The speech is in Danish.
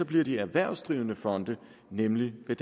bliver de erhvervsdrivende fonde nemlig ved